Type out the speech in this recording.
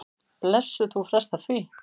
Blessuð, þú frestar því.